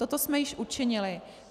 Toto jsme již učinili.